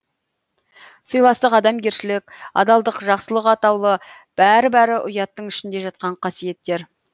сыйластық адамгершілік адалдық жақсылық атаулы бәрі бәрі ұяттың ішінде жатқан қасиеттер